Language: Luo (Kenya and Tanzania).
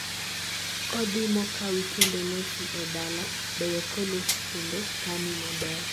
kodhi mokawi kendo losi e dala beyo kolosi kendo kani maber